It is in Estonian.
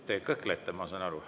Te kõhklete, ma saan aru.